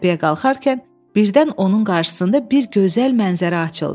Təpəyə qalxarkən birdən onun qarşısında bir gözəl mənzərə açıldı.